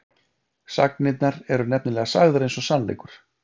sagnirnar eru nefnilega sagðar eins og sannleikur